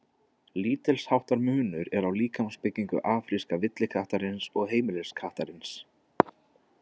Lítilsháttar munur er á líkamsbyggingu afríska villikattarins og heimiliskattarins.